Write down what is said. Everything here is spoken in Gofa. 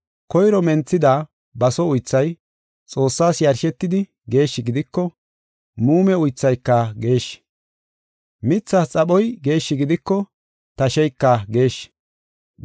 Koyro menthida baso uythay Xoossaas yarshetidi geeshshi gidiko, muume uythayka geeshshi. Mithas xaphoy geeshshi gidiko, tasheyka geeshshi.